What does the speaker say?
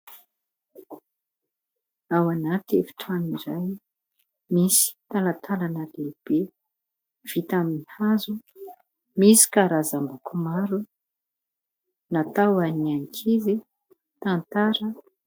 Ao anaty efitrano iray, misy talantalana lehibe vita amin'ny hazo, misy karazany loko maro natao ho an'ny ankizy, tantara.